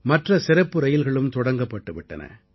மற்ற சிறப்பு ரயில்களும் தொடங்கப்பட்டு விட்டன